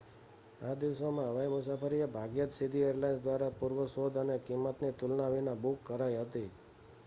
આ દિવસોમાં હવાઈ મુસાફરી એ ભાગ્યે જ સીધી એરલાઇન્સ દ્વારા પૂર્વ શોધ અને કિંમતની તુલના વિના બુક કરાઈ હતી